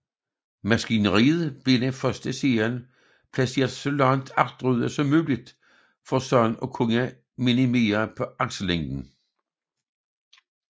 Maskineriet blev i den første serie placeret så langt agterude som muligt for således at kunne minimere aksellængden